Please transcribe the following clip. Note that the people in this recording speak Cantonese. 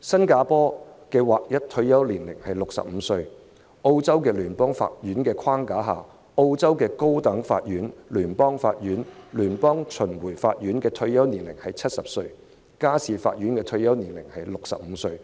新加坡的劃一退休年齡是65歲；在澳洲聯邦法院的框架下，澳洲高等法院、聯邦法院、聯邦巡迴法院的退休年齡是70歲，家事法院的退休年齡是65歲。